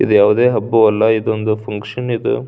ಇದು ಯಾವುದೇ ಹಬ್ಬವಲ್ಲ ಇದೊಂದು ಫಂಕ್ಷನ್ ಇದು--